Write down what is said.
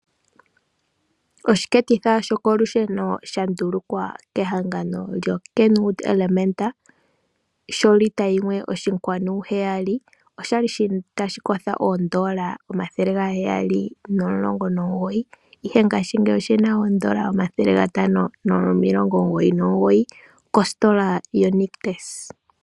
Oshiketitha shokolusheno shandulukwa kehangano lyoKenwood Elementa sholita yimwe oshinkwanu heyali, oshali shina tashikosho oondola omathele gaheyali nomulongo nomugoyi ihe ngaashingeyi oshina oondola omathele gatano nomilongo omugoyi nomugoyi kositola yoNictus.